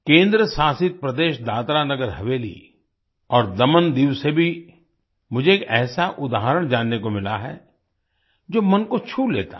केंद्र शासित प्रदेश दादरानगर हवेली और दमनदीव से भी मुझे एक ऐसा उदाहरण जानने को मिला है जो मन को छू लेता है